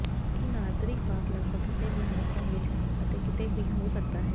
ਕੀ Nordic walk ਲਗਭਗ ਕਿਸੇ ਵੀ ਮੌਸਮ ਵਿੱਚ ਅਤੇ ਕਿਤੇ ਵੀ ਹੋ ਸਕਦਾ ਹੈ